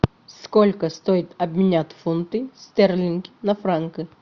сколько стоит обменять фунты стерлинги на франки